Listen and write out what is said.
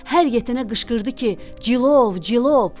Hər yetənə qışqırdı ki, Cilov, Cilov.